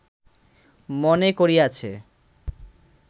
মনে করিয়াছে